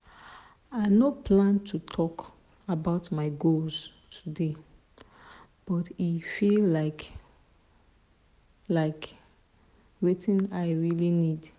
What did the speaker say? i no plan to talk about my goals today but e feel like like wetin i really need.